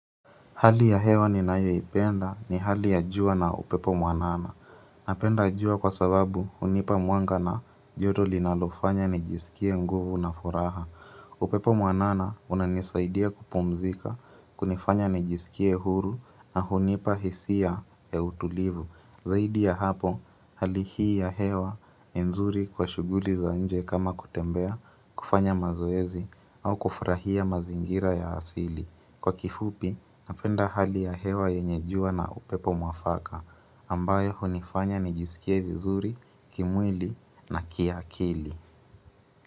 Hali ya hewa ninayoipenda ni hali ya jua na upepo mwanana. Napenda jua kwa sababu hunipa mwanga na joto linalofanya nijiskie nguvu na furaha. Upepo mwanana unanisaidia kupumzika, kunifanya nijisikia huru na hunipa hisia ya utulivu. Zaidi ya hapo, hali hii ya hewa ni nzuri kwa shughuli za nje kama kutembea, kufanya mazoezi au kufurahia mazingira ya asili. Kwa kifupi, napenda hali ya hewa yenye jua na upepo mwafaka ambayo hunifanya nijisikie vizuri, kimwili na kiakili.